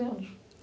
anos.